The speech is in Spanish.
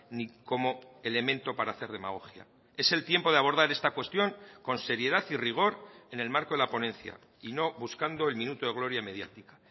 ni como elemento para hacer demagogia es el tiempo de abordar esta cuestión con seriedad y rigor en el marco de la ponencia y no buscando el minuto de gloria mediática